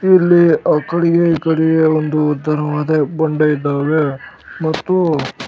ಇಲ್ಲಿ ಆಕಡೆಗೆ ಈಕಡೆಗೆ ಒಂದು ಧರ್ಮದ ಬಂಡೆ ಇದ್ದಾವೆ ಮತ್ತು --